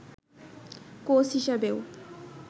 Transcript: coach হিসেবেও